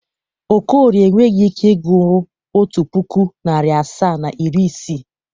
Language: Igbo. Okorie enweghi ike ịgụrụ otu pụkụ, narị asaa na iri isii.